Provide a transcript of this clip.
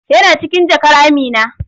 Yana cikin jakar Amina.